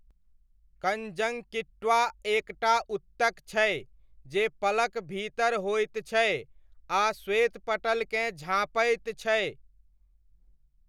Conjunctiva एक टा ऊतक छै जे पलक भीतर होइत छै आ श्वेतपटलकेँ झाँपैत छै।